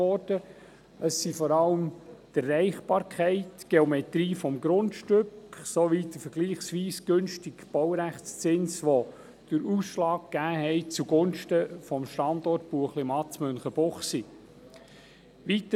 Es sind vor allem die Erreichbarkeit, die Geometrie des Grundstücks sowie der vergleichsweise günstige Baurechtszins, welche den Ausschlag zugunsten des Standorts Buechlimatt in Münchenbuchsee gegeben hatten.